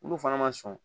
Minnu fana ma sɔn